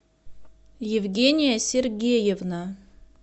евгения сергеевна